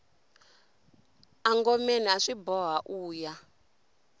engomeni aswi boha uya